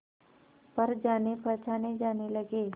पर जानेपहचाने जाने लगे